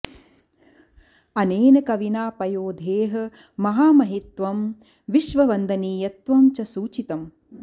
अनेन कविना पयोधेः महामहिमत्वं विश्व वन्दनीयत्वं च सूचितम्